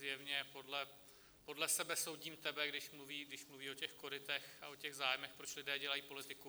Zjevně podle sebe soudím tebe, když mluví o těch korytech a o těch zájmech, proč lidé dělají politiku.